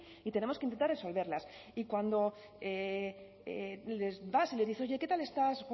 y tenemos que intentar resolverlas y cuando vas y les dices oye qué tal estás